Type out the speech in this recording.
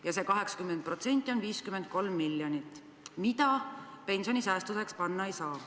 Ja see 80% on 53 miljonit, mida pensionisäästudeks panna ei saa.